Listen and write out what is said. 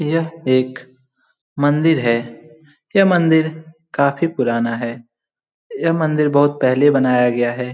यह एक मंदिर है। यह मंदिर काफी पुराना है। यह मंदिर बहुत पहले बनाया गया है।